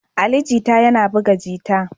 Ali Jita yana buga jita